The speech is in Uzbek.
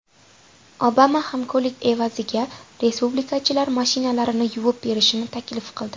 Obama hamkorlik evaziga respublikachilar mashinalarini yuvib berishini taklif qildi.